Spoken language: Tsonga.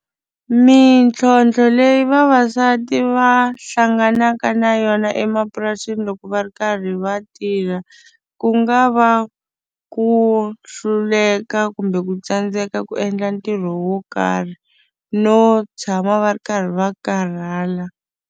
Mintlhontlho leyi vavasati va hlanganaka na yona emapurasini loko va ri karhi va tirha ku nga va ku hluleka kumbe ku tsandzeka ku endla ntirho wo karhi no tshama va ri karhi va karhala.